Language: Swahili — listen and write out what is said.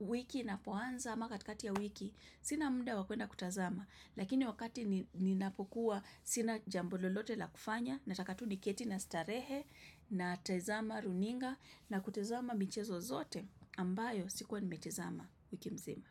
wiki inapoanza ama katikati ya wiki. Sina muda wa kwenda kutazama. Lakini wakati ninapokuwa sina jambo lolote la kufanya. Na taka tu ni keti na starehe na tezama runinga na kutezama mchezo zote ambayo sikuwa nimetezama wiki mzima.